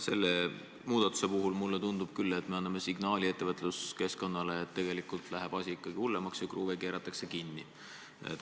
Selle muudatuse puhul tundub mulle küll nii, et me anname ettevõtluskeskkonnale signaali, et tegelikult läheb asi ikka hullemaks ja kruve keeratakse kinni.